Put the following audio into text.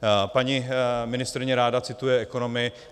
Paní ministryně ráda cituje ekonomy.